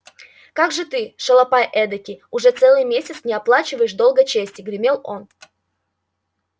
как же ты шалопай эдакий уже целый месяц не оплачиваешь долга чести гремел он